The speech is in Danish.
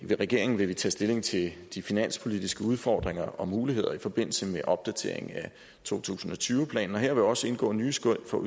regeringen vil vi tage stilling til de finanspolitiske udfordringer og muligheder i forbindelse med opdatering af to tusind og tyve planen og her vil også indgå nye skøn for